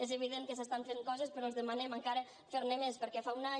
és evident que s’estan fent coses però els demanem encara fer ne més perquè fa un any